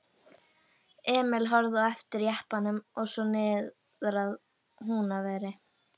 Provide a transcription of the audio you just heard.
Emil horfði á eftir jeppanum og svo niðrað Húnaveri.